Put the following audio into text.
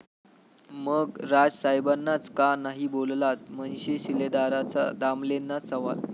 ...मग राज साहेबांनाच का नाही बोललात?, मनसे शिलेदाराचा दामलेंनाच सवाल